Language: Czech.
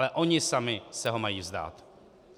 Ale oni sami se ho mají vzdát.